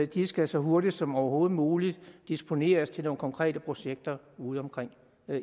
de skal så hurtigt som overhovedet muligt disponeres til nogle konkrete projekter udeomkring